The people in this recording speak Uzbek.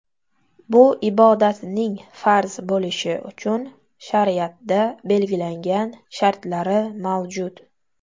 Bu ibodatning farz bo‘lishi uchun shariatda belgilangan shartlari mavjud.